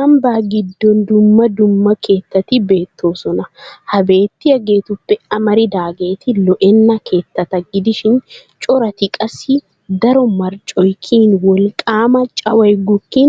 Ambba giddon dumma dumma keettati beettoosona. Ha beettiyageetuppe amaridaageeti lo"enna keettata gidishin corati qassi daro marccoy kiyin wolqqaama caway gukkin